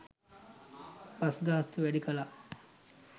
bus ගාස්තුව වැඩි කළා